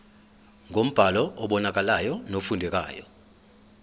ngombhalo obonakalayo nofundekayo